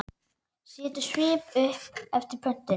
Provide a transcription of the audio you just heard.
Setur upp svip eftir pöntun.